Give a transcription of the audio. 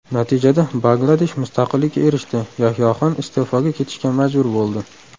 Natijada Bangladesh mustaqillikka erishdi, Yahyoxon iste’foga ketishga majbur bo‘ldi.